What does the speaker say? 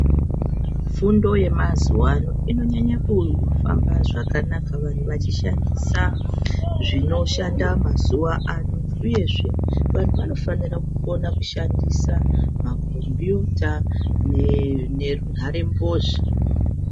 Fundo yemazuva ano inonyanya kufamba zvakanaka vantu vachishandisa zvinoshanda mazuva ano uyezve vantu vanofana kukona kushandisa makombiyuta nenharembozha.